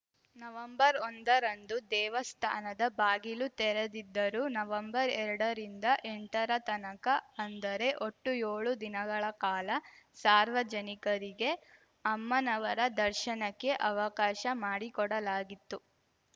ನವೆಂಬರ್ಒಂದರಂದು ದೇವಸ್ಥಾನದ ಬಾಗಿಲು ತೆರೆದಿದ್ದರೂ ನವೆಂಬರ್ಎರಡರಿಂದ ಎಂಟರ ತನಕ ಅಂದರೆ ಒಟ್ಟು ಯೋಳು ದಿನಗಳ ಕಾಲ ಸಾರ್ವಜನಿಕರಿಗೆ ಅಮ್ಮನವರ ದರ್ಶನಕ್ಕೆ ಅವಕಾಶ ಮಾಡಿಕೊಡಲಾಗಿತ್ತು